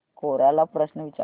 कोरा ला प्रश्न विचार